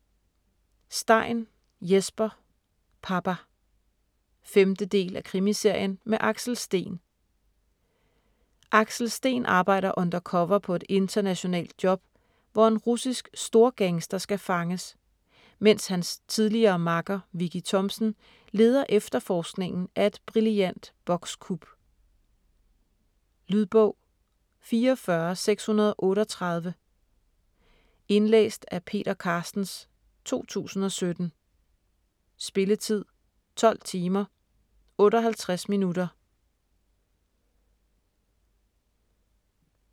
Stein, Jesper: Papa 5. del af Krimiserien med Axel Steen. Axel Steen arbejder undercover på et internationalt job, hvor en russisk storgangster skal fanges, mens hans tidligere makker, Vicki Thomsen, leder efterforskningen af et brillant bokskup. Lydbog 44638 Indlæst af Peter Carstens, 2017. Spilletid: 12 timer, 58 minutter.